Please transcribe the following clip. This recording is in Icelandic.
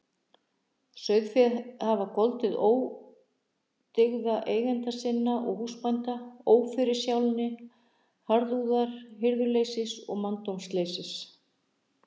Sauðféð hafa goldið ódyggða eigenda sinna og húsbænda: óforsjálni, harðúðar, hirðuleysis og manndómsleysis.